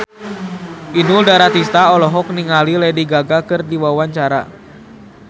Inul Daratista olohok ningali Lady Gaga keur diwawancara